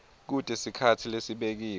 kute sikhatsi lesibekiwe